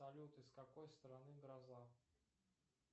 салют из какой страны гроза